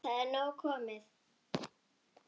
Það er nóg komið.